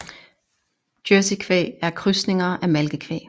Jersey kvæg er krydsninger af malkekvæg